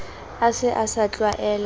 a se a sa tlwaela